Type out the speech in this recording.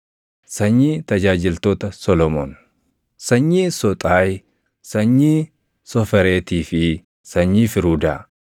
Sanyii tajaajiltoota Solomoon: Sanyii Soxaayi, sanyii Sofereetii fi sanyii Firuudaa;